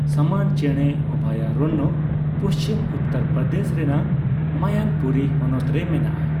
ᱥᱟᱢᱟᱱ ᱪᱮᱬᱮ ᱚᱵᱷᱚᱭᱟᱨᱚᱱᱱᱚ ᱯᱩᱪᱷᱤᱢ ᱩᱛᱛᱚᱨ ᱯᱨᱚᱫᱮᱥ ᱨᱮᱱᱟᱜ ᱢᱚᱭᱚᱱᱯᱩᱨᱤ ᱦᱚᱱᱚᱛ ᱨᱮ ᱢᱮᱱᱟᱜᱼᱟ ᱾